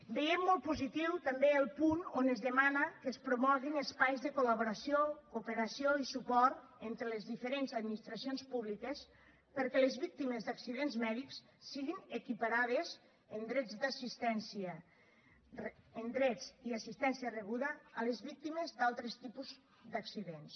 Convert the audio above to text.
veiem molt positiu també el punt on es demana que es promoguin espais de col·laboració cooperació i suport entre les diferents administracions públiques perquè les víctimes d’accidents mèdics siguin equiparades en drets i assistència rebuda a les víctimes d’altres tipus d’accidents